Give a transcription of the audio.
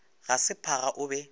ga se phaga o be